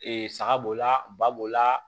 Ee saga b'o la ba b'o la